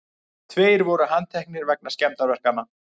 Tveir voru handteknir vegna skemmdarverkanna